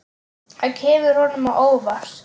Það kemur honum á óvart.